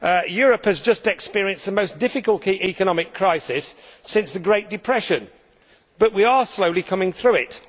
Europe has just experienced the most difficult economic crisis since the Great Depression, but we are slowly coming through it.